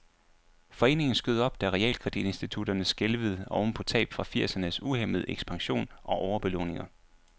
Foreningen skød op, da realkreditinstitutterne skælvede oven på tab fra firsernes uhæmmede ekspansion og overbelåninger.